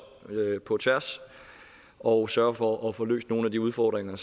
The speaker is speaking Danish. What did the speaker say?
på tværs og sørger for at få løst nogle af de udfordringer